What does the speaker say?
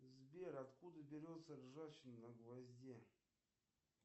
сбер откуда берется ржавчина на гвозде